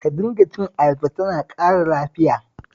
Ka dinga cin ayaba, tana ƙara lafiya